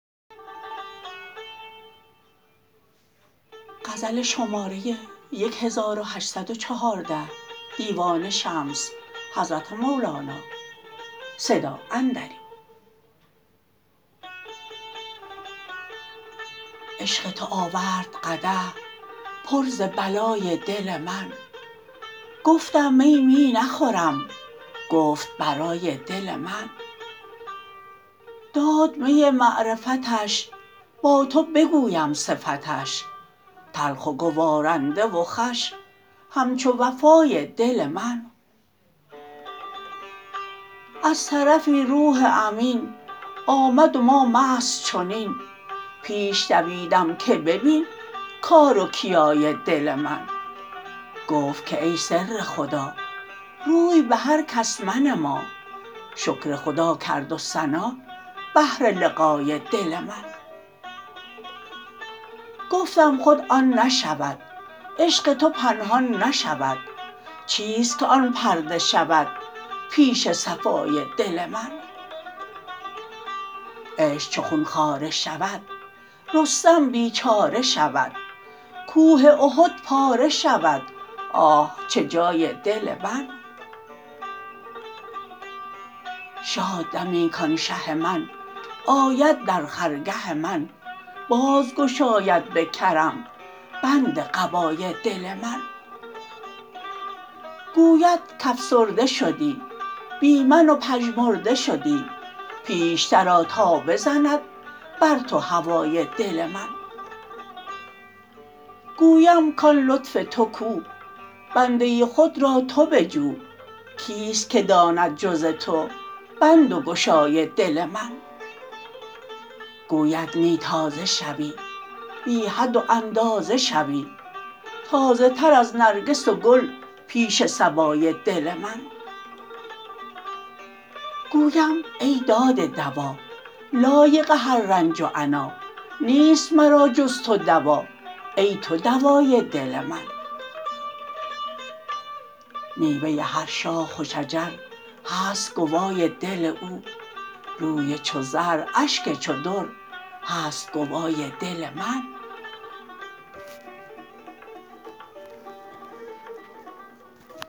عشق تو آورد قدح پر ز بلای دل من گفتم می می نخورم گفت برای دل من داد می معرفتش با تو بگویم صفتش تلخ و گوارنده و خوش همچو وفای دل من از طرفی روح امین آمد و ما مست چنین پیش دویدم که ببین کار و کیای دل من گفت که ای سر خدا روی به هر کس منما شکر خدا کرد و ثنا بهر لقای دل من گفتم خود آن نشود عشق تو پنهان نشود چیست که آن پرده شود پیش صفای دل من عشق چو خون خواره شود رستم بیچاره شود کوه احد پاره شود آه چه جای دل من شاد دمی کان شه من آید در خرگه من باز گشاید به کرم بند قبای دل من گوید که افسرده شدی بی من و پژمرده شدی پیشتر آ تا بزند بر تو هوای دل من گویم کان لطف تو کو بنده خود را تو بجو کیست که داند جز تو بند و گشای دل من گوید نی تازه شوی بی حد و اندازه شوی تازه تر از نرگس و گل پیش صبای دل من گویم ای داده دوا لایق هر رنج و عنا نیست مرا جز تو دوا ای تو دوای دل من میوه هر شاخ و شجر هست گوای دل او روی چو زر اشک چو در هست گوای دل من